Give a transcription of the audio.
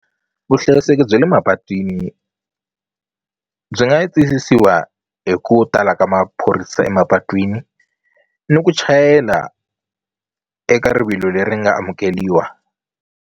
Vuhlayiseki bya le mapatwini byi nga yi tiyisisiwa hi ku tala ka maphorisa emapatwini ni ku chayela eka rivilo leri nga amukeliwa.